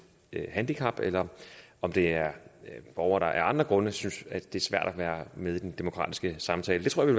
handicap eller om det er borgere der af andre grunde synes at det er svært at være med i den demokratiske samtale det tror jeg